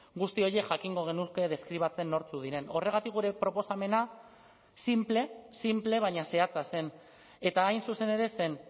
guzti horiek jakingo genuke deskribatzen nortzuk diren horregatik gure proposamena sinple sinple baina zehatza zen eta hain zuzen ere zen